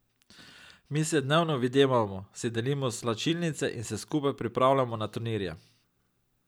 Mi se dnevno videvamo, si delimo slačilnice in se skupaj pripravljamo na turnirje.